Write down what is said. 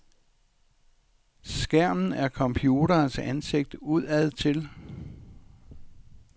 Skærmen er computerens ansigt udadtil.